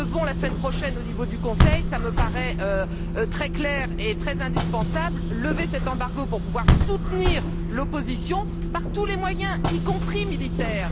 Nous, nous devons, la semaine prochaine au niveau du Conseil cela me paraît très clair et indispensable lever cet embargo pour pouvoir soutenir l'opposition par tous les moyens, y compris militaires.